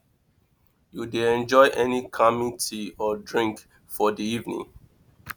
you dey enjoy any calming tea or drink for di evening